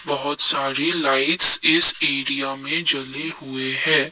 बहुत सारी लाइट्स इस एरिया में जले हुए हैं।